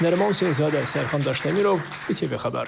Nəriman Seyidzadə, Sərxan Daşdəmirov, İTV Xəbər.